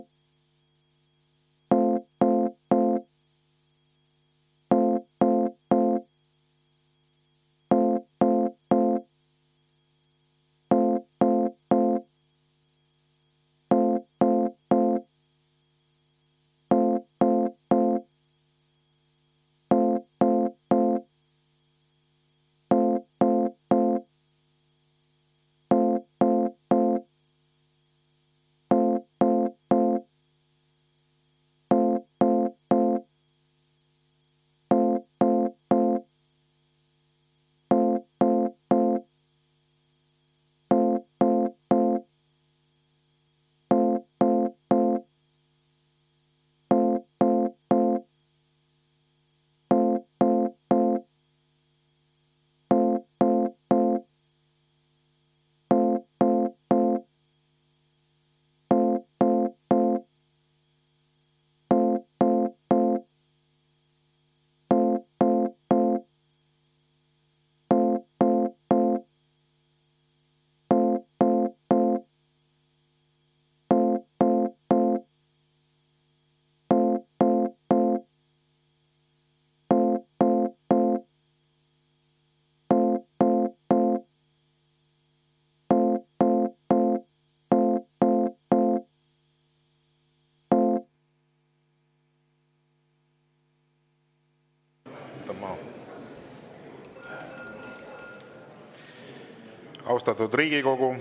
Austatud Riigikogu!